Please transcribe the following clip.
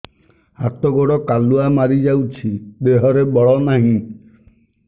ହାତ ଗୋଡ଼ କାଲୁଆ ମାରି ଯାଉଛି ଦେହରେ ବଳ ନାହିଁ